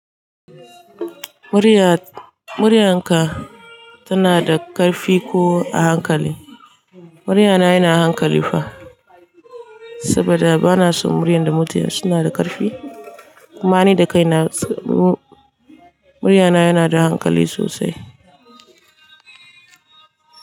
Muriya, muryarka tana da ƙarfi ko a hankali? Muryana yana hankali fa, saboda bana son muryan da mutane suna da ƙarfi. Kuma ni da kai na, muryana yana da hankali sosai.